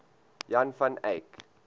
jan van eyck